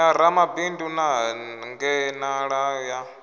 ya ramabindu na hangenalano ya